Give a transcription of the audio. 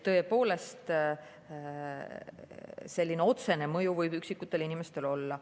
Tõepoolest, selline otsene mõju võib üksikutele inimestele olla.